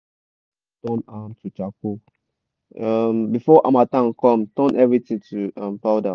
no waste um all dem farm waste turn am to charcoal um before harmattan come turn everything to um powder.